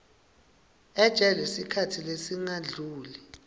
ejele sikhatsi lesingadluli